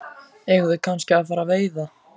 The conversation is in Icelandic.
Eigum við kannski að fara að veiða?